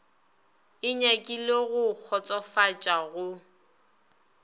e nyakile go kgotsofatša go